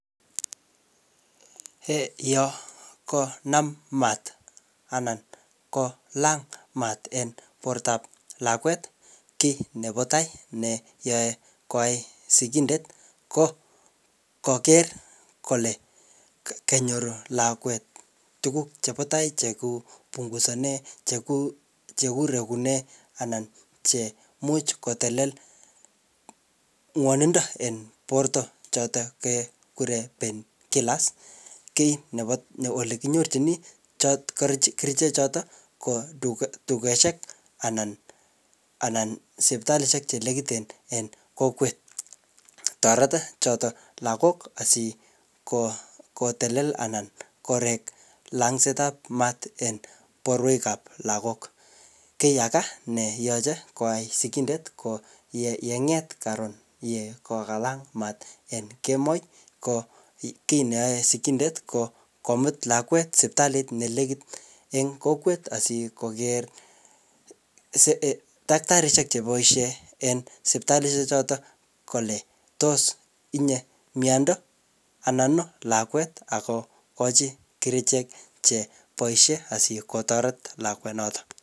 um Yokonam maat anan ko lang maat en portop lakwet, kiy nebo tai neyae koai sigindet ko koker kole ke-kenyoru lakwet tuguk chebo tai cheku pungusane cheku, chekurekune anan chemuch kotelel ng'wanindo en porto chotok kekure painkillers. Kiy nebo ne ole kinyorchini chot kerichek chotok ko duke-dukeshek anan sipitalishek che nekiten en kokwet. Toreto chotok lagok asiko kotelel anan korek langset ap maaat eng porwek ap lagok. Kiy aga neyache koai sigindet ko yeyenget karon yekokalang maat en kemoi ko kiy neae sigindet ko komut lakwet sipitalit ne nekit en kokwet asikoker um daktarishek cheboisie en sipitalishek chotok kole tos itinye miando anan lakwet ako kochi kerichek cheboisie asikotoret lakwet notok